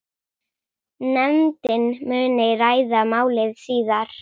Nefndin muni ræða málið síðar.